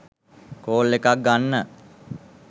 Call එකක් ගන්න.